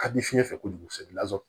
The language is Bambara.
Kabini fiɲɛ fɛ kojugu kosɛbɛ